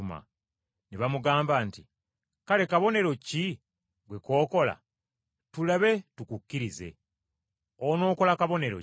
Ne bamugamba nti, “Kale kabonero ki ggwe k’okola, tulabe tukukkirize? Onookola kabonero ki?